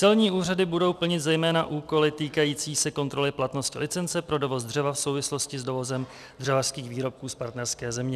Celní úřady budou plnit zejména úkoly týkající se kontroly platnosti licence pro dovoz dřeva v souvislosti s dovozem dřevařských výrobků z partnerské země.